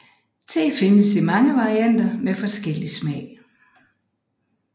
Te findes i mange varianter med forskellig smag